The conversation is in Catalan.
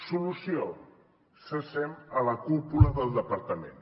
solució cessem la cúpula del departament